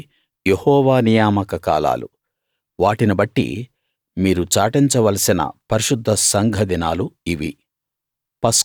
ఇవి యెహోవా నియామక కాలాలు వాటిని బట్టి మీరు చాటించవలసిన పరిశుద్ధ సంఘ దినాలు ఇవి